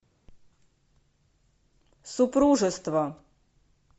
супружество